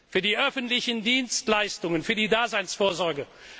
für die öffentlichen Dienstleistungen, für die Daseinsvorsorge.